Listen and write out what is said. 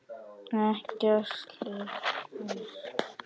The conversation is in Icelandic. Ekkert liggur á